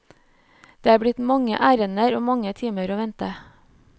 Det er blitt mange ærender og mange timer å vente.